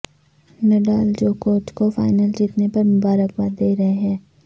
Nadal جوکووچ کو final جیتنے پر مبارک باد دے رہے ہیں